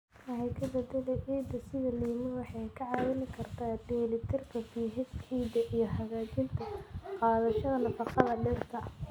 Wax ka beddelka ciidda sida lime waxay kaa caawin kartaa dheellitirka pH ciidda iyo hagaajinta qaadashada nafaqada dhirta.